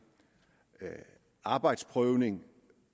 arbejdsprøvning